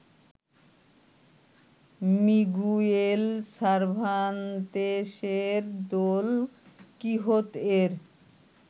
Miguel সার্ভান্তেসের Don কিহোত-এর